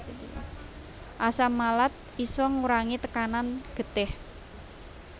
Asam malat isa ngurangi tekanan getih